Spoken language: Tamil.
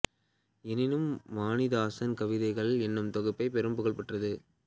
எனினும் வாணிதாசன் கவிதைகள் என்னும் தொகுப்பே பெரும் புகழ் பெற்றது